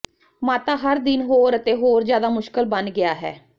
ਮਾਤਾ ਹਰ ਦਿਨ ਹੋਰ ਅਤੇ ਹੋਰ ਜਿਆਦਾ ਮੁਸ਼ਕਲ ਬਣ ਗਿਆ ਹੈ